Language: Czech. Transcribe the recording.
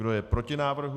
Kdo je proti návrhu?